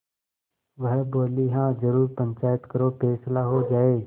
वह बोलेहाँ जरूर पंचायत करो फैसला हो जाय